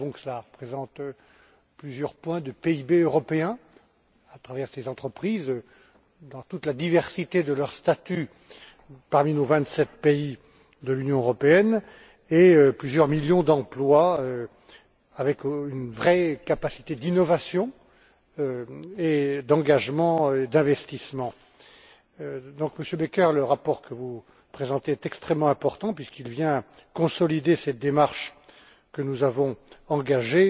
Nous savons que cela représente plusieurs points de PIB européen, à travers ces entreprises, dans toute la diversité de leur statut parmi nos vingt sept pays de l'Union européenne, et plusieurs millions d'emplois avec une vraie capacité d'innovation, d'engagement et d'investissement. Monsieur Becker, le rapport que vous présentez est extrêmement important puisqu'il vient consolider cette démarche que nous avons engagée